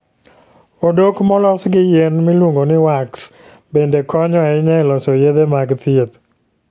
Odok molos gi yien miluongo ni wax bende konyo ahinya e loso yedhe mag thieth.